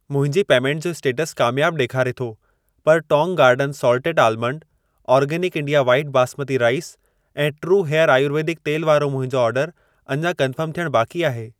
मुंहिंजी पेमेंट जो स्टेटस कामयाब ॾेखारे थो, पर Tong Garden salted almond, organic India white basmati rice ऐं ट्रू हेयर आयुर्वेदिक तेलु वारो मुंहिंजो ऑर्डर अञा कन्फर्म थियण बाक़ी आहे।